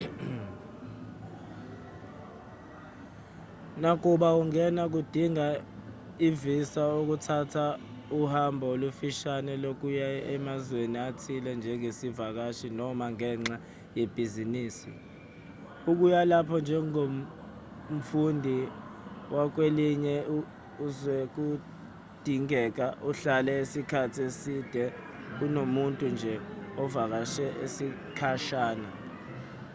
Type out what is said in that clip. nakuba ungena kudinga i-visa ukuthatha uhambo olufishane lokuya emazweni athile njengesivakashi noma ngenxa yebhizinisi ukuya lapho njengomfundi wakwelinye izwekudingeka uhlale isikhathi eside kunomuntu nje ovakashe isikhashana